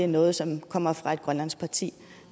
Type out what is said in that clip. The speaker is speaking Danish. noget som kommer fra et grønlandsk parti